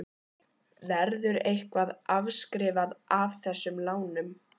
Verður eitthvað afskrifað af þessum lánum?